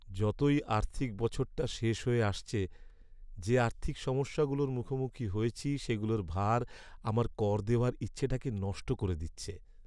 যতই আর্থিক বছরটা শেষ হয়ে আসছে, যে আর্থিক সমস্যাগুলোর মুখোমুখি হয়েছি সেগুলোর ভার আমার কর দেওয়ার ইচ্ছেটাকে নষ্ট করে দিচ্ছে!